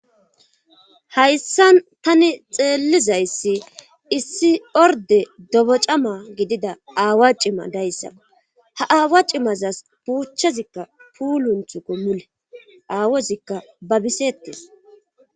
hayssan tani xeellizayssi issi orde dobocama gidida aawa cima dayssaa ha aawa cimazas puuchazikka puulunthukko mule aawozikka babisettes